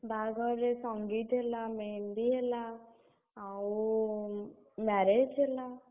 ବାହାଘରରେ संगीत ହେଲା, मेहंदी ହେଲା, ଆଉ, marriage ହେଲା।